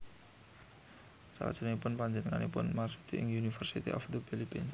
Salajengipun pajenenganipun marsudi ing University of the Philippines